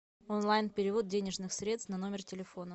онлайн перевод денежных средств на номер телефона